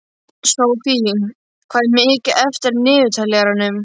Sophie, hvað er mikið eftir af niðurteljaranum?